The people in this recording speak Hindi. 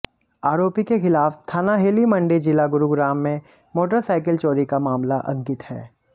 आरोपी के खिलाफ थाना हेली मंडी जिला गुरुग्राम में मोटरसाइकिल चोरी का मामला अंकित है